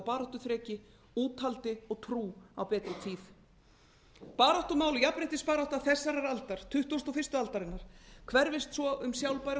baráttuþreki úthaldi og trú á betri tíð baráttumál og jafnréttisbarátta þessarar aldar tuttugasta og fyrstu aldarinnar hverfist svo um sjálfbæra